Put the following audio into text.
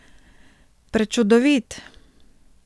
Prečudovit!